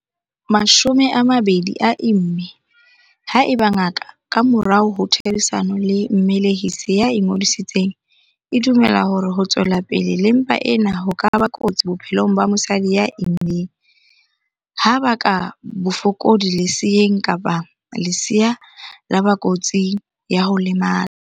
20 a imme haeba ngaka, ka morao ho therisano le mmelehisi ya ingodisitseng, e dumela hore ho tswela pele le mpa ena ho ka ba kotsi bophelong ba mosadi ya immeng, ha baka bofokodi leseeng kapa lesea la ba kotsing ya ho lemala.